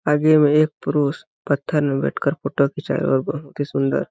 आगे में एक पुरुष पत्थर में बैठ कर फोटो खींचाया है और बहुत ही सुन्दर--